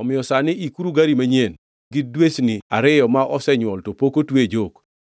“Omiyo sani ikuru gari manyien, gi dwesni ariyo ma osenywol to pok otwe e jok.